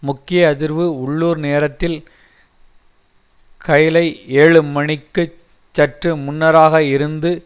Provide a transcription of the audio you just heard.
முக்கிய அதிர்வு உள்ளூர் நேரத்தில் கைலை ஏழு மணிக்குச் சற்று முன்னராக இருந்து